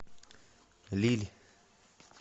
лилль